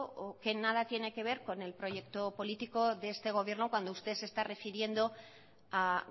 que en nada tiene que ver con el proyecto político de este gobierno cuando usted se está refiriendo a